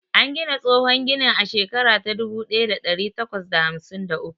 An gina tsohon ginin a shekara ta dubu ɗaya da ɗari takwas da hamsin da uku.